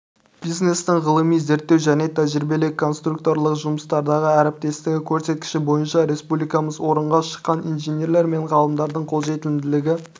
бизнестің ғылыми-зерттеу және тәжірибелік-конструкторлық жұмыстардағы әріптестігі көрсеткіші бойынша республикамыз орынға шыққан инженерлер мен ғалымдардың қолжетімділігі